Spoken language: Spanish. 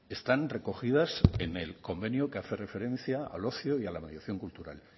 están recogidas en el convenio que hace referencia al ocio y a la mediación cultural